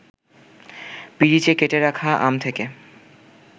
পিরিচে কেটে রাখা আম থেকে